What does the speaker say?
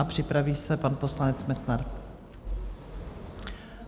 A připraví se pan poslanec Metnar.